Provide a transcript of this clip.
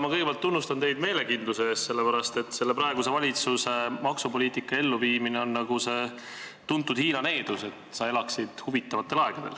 Ma kõigepealt tunnustan teid meelekindluse eest, sest praeguse valitsuse maksupoliitika elluviimine on nagu see tuntud Hiina needus: et sa elaksid huvitavatel aegadel.